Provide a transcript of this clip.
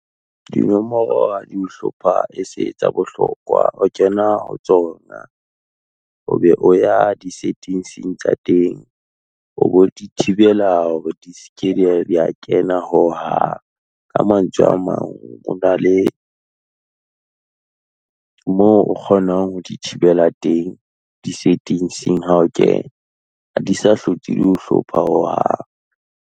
Dinomoro ha di o hlopha e se etsa bohlokwa, o kena ho tsona, o be o ya di-settings tsa teng, o be o di thibela hore di seke dia kena ho hang. Ka mantswe a mang, o na le moo o kgonang ho di thibela teng, di-setting-ing ha o kena, ha di sa hlotse di ho hlopha o hang.